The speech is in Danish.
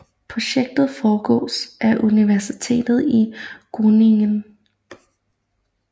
Projektet forestås af Universitetet i Groningen